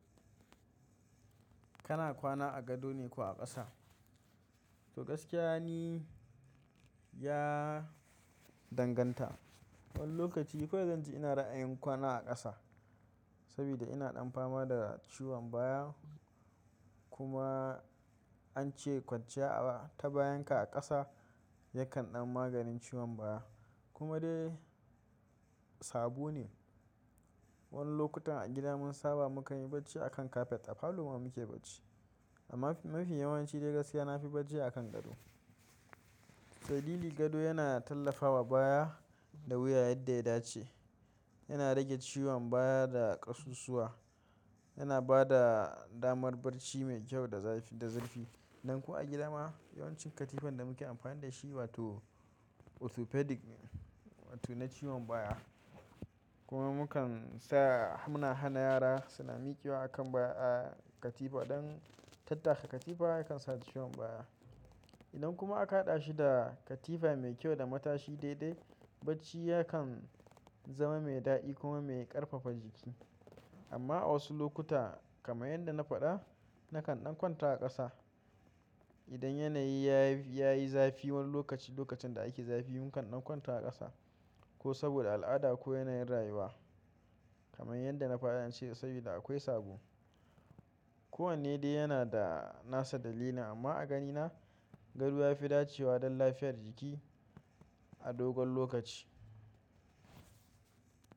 Kana kwana a gado ne ko a ƙasa? To gaskiya ne ya danganta. Wani lokaci kawai zan ji ina ra'ayin kwana a ƙasa sabida ina ɗan fama da ciwon baya kuma an ce kwaciya a ta bayan ka a ƙasa yakan ɗan maganin ciwon baya kuma dai sabo ne. Wani lokutan a gida mun saba mu kan yi bacci a kan kafet a falo ma muke bacci. Amma mafi yawanci dai gaskiya na fi bacci a kan gado. Dalili gado yana tallafawa baya da wuya yadda ya dace, yana rage ciwon baya da ƙasusuwa, yana bada damar bacci mai kyau da zurfi. Dan ko a gida ma yawancin katifan da muke amfani da shi wato orthopedic ne wato na ciwon baya. Kuma mukan sa muna hana yara suna miƙewa a kan baya a katifa don tattaka katifa ya kan sa ciwon baya. Idan kuma aka haɗa shi da katifa mai kyau da matashi daidai bacci yakan zama mai daɗi kuma mai ƙarfafa jiki. Amma a wasu lokuta kamar yadda na faɗa na kan ɗan kwanta a ƙasa. Idan yanayi ya yi zafi wani lokaci, lokacin da ake zafi mukan ɗan kwanta a ƙasa ko saboda al'ada ko yanayin rayuwa kamar yadda na faɗa in ce sabida akwai sabo. Ko wanne dai yana da nasa dalili amma a ganina gado ya fi dacewa don lafiyar jiki a dogon lokaci.